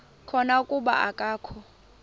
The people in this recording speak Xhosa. khona kuba akakho